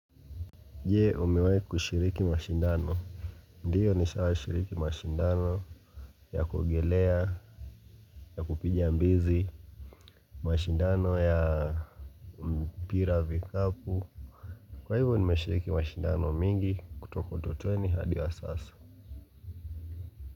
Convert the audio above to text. Jee umiwaikushiriki mashindano ndiyo nishawa shiriki mashindano ya kuogelea ya kupiga mbizi mashindano ya mpira vikapu kwa hivyo nimeshiriki mashindano mingi kutoko 20 hadi wa sasa.